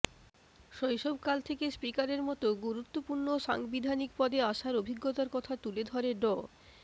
শৈশবকাল থেকে স্পিকারের মতো গুরুত্বপূর্ণ সাংবিধানিক পদে আসার অভিজ্ঞতার কথা তুলে ধরে ড